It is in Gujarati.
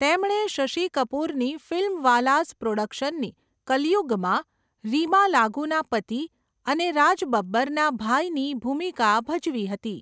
તેમણે શશિ કપૂરની ફિલ્મવાલાસ પ્રોડક્શનની 'કલયુગ'માં રીમા લાગુના પતિ અને રાજ બબ્બરના ભાઈની ભૂમિકા ભજવી હતી.